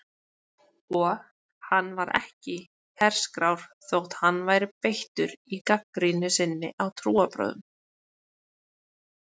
Og hann var ekki herskár þótt hann væri beittur í gagnrýni sinni á trúarbrögð.